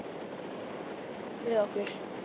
Þau koma hlaupandi og stumra yfir mér.